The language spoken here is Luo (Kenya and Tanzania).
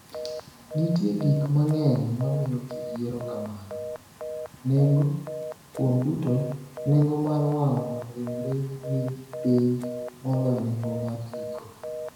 Nitie gik mang’eny ma miyo ji yiero kamano: Nengo: Kuom duto, nengo mar wang’o ringre ni piny moloyo nengo mar iko.